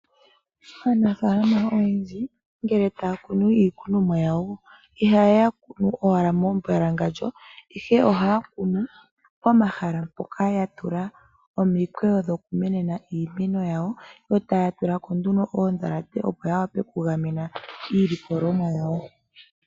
Aanafaalama oyendji ngele taya kunu iikunonwa yawo ihaya kunu owala membwalangalyo ihe ohaya kunu pomahala mpoka yatula omikweyo dhoku menena iimeno yawo yotaya tulako nduno oodhalate dhoku gamena iilikolomwa yawo.